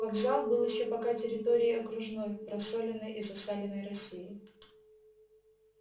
вокзал был ещё пока территорией окружной просоленной и засаленной россии